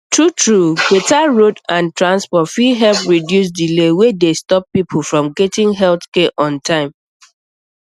truetrue truetrue better road and transport fit help reduce delay wey dey stop people from getting health care on time